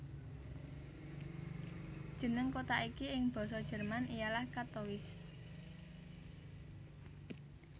Jeneng kota iki ing Basa Jerman ialah Kattowitz